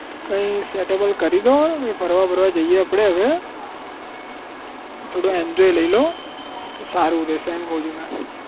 કઈ setable કરીદો હવે કઈ ફરવા બરવા જઈએ આપડે હવે થોડું enjoy લઇ લો તો સારું રહેશે એમ કહું છું મે